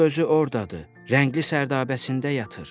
Kral özü ordadır, rəngli sərdabəsində yatır.